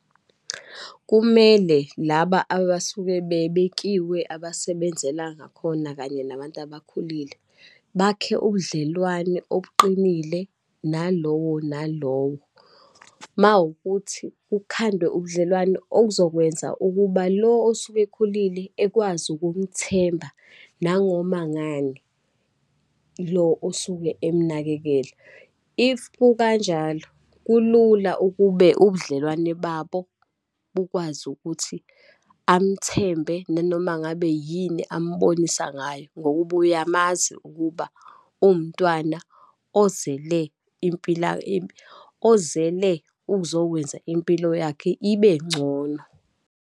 Kumele laba abasuke bebekiwe abasebenzela ngakhona kanye nabantu abakhulile, bakhe ubudlelwane obuqinile nalowo nalowo. Uma wukuthi kukhandwe ubudlelwano okuzokwenza ukuba lo osuke ekhulile, ekwazi ukumthemba nangoma ngani lo osuke emnakekela. If kukanjalo, kulula ukube ubudlelwane babo bukwazi ukuthi amthembe nanomangabe yini ambonisa ngayo, ngokuba uyamazi ukuba uwumntwana ozele impila, ozele ukuzokwenza impilo yakhe ibe ngcono.